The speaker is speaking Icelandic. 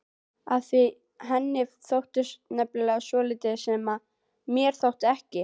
Af því henni þótti nefnilega svolítið sem mér þótti ekki.